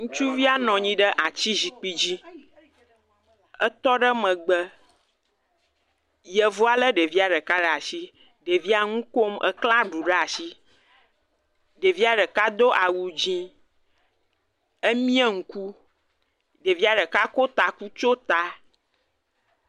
Ŋutsuvia nɔ anyi ɖe ati zikpui dzi, etɔ ɖe megbe, yevua lé ɖevia ɖe asi, ɖevia nu kom, kle aɖu ɖe asi, ɖevia do awu dze, emie ŋku, ɖevia ɖeka kɔ taku tsyɔ ta.